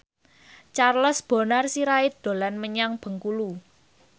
Charles Bonar Sirait dolan menyang Bengkulu